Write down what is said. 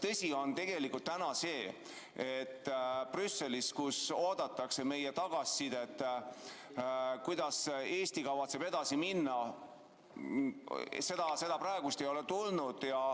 Tõsi on see, et Brüsselis oodatakse meie tagasisidet, kuidas Eesti kavatseb edasi minna ja seda ei ole praegu tulnud.